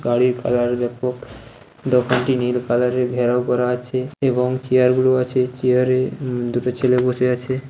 গাড়ির কালার ব্যাপক দোকানটি নীল কালারের -এর ঘেরাও করা আছে। এবং চেয়ার গুলো আছে চেয়ারে - এ উ-ম দুটো ছেলে বসে আছে।